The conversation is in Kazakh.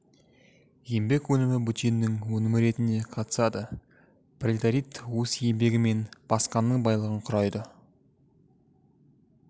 еңбек өнімі бөтеннің өнімі ретінде қатысады пролетарит өз еңбегімен басқаның байлығын құрайды